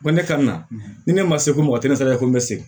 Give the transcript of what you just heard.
Ko ne ka na ni ne ma se ko mɔgɔ tɛ ne sara ko n bɛ se